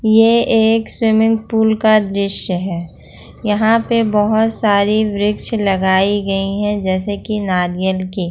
ये एक swimming pool का दृश्य है यहां पे बहुत सारी बृछ लगाई गई हैं जैसे कि नारियल की।